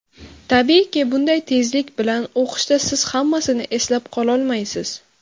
Tabiiyki, bunday tezlik bilan o‘qishda siz hammasini eslab qololmaysiz.